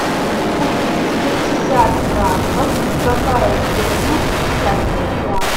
купить пятьдесят франков какая стоимость в китайских юанях